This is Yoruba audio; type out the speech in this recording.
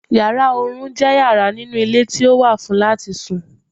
Yàrá oorun je yara ninu ile ti o wà fun lati sùn